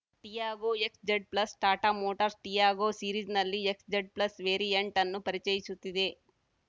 Tiago XZ plus Tata motors Tiago ಸೀರೀಸ್‌ನಲ್ಲಿ XZ plus variant ಅನ್ನು ಪರಿಚಯಿಸುತ್ತಿದೆ